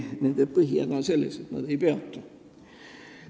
Nende põhihäda on selles, et nad ei peatu.